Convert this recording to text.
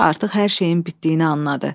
Qoca artıq hər şeyin bitdiyini anladı.